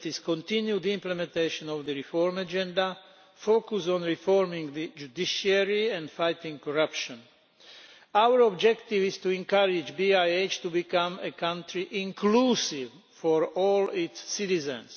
continued implementation of the reform agenda, focus on reforming the judiciary and fighting corruption. Our objective is to encourage BIH to become a country that is inclusive for all its citizens.